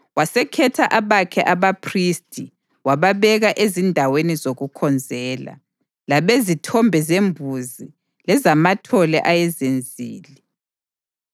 Wasekhetha abakhe abaphristi wababeka ezindaweni zokukhonzela, labezithombe zembuzi lezamathole ayezenzile.